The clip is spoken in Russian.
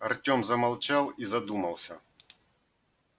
артём замолчал и задумался